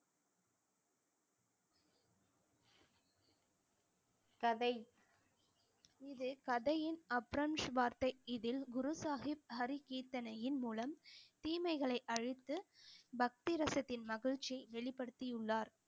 கதை இது கதையின் இதில் குரு சாகிப் ஹரி கீர்த்தனையின் மூலம் தீமைகளை அழித்து பக்தி ரசத்தின் மகிழ்ச்சியை வெளிப்படுத்தியுள்ளார்